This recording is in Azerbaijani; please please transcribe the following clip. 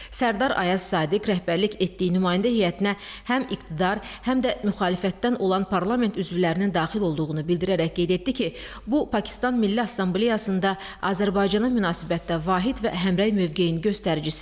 Sərdar Ayaz Sadiq rəhbərlik etdiyi nümayəndə heyətinə həm iqtidar, həm də müxalifətdən olan parlament üzvlərinin daxil olduğunu bildirərək qeyd etdi ki, bu Pakistan Milli Assambleyasında Azərbaycana münasibətdə vahid və həmrəy mövqeyinin göstəricisidir.